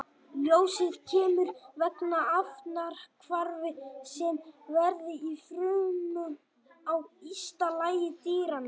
Ljósið kemur vegna efnahvarfa sem verða í frumum á ysta lagi dýranna.